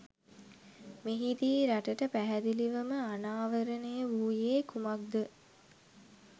මෙහිදී රටට පැහැදිලිවම අනාවරණය වූයේ කුමක්‌ද?